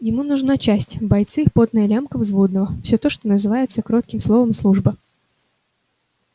ему нужна часть бойцы потная лямка взводного все то что называется коротким словом служба